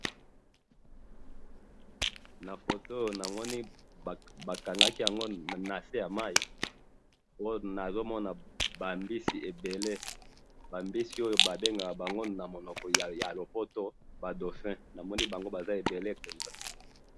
na photo oyo na moni ba kangaki yango nase ya mayi oyo na zomo mona ba mbisi ebele ba mbisi oyo ba lobaka na munoko ya lopoto dauphin na moni bango baza ebele penza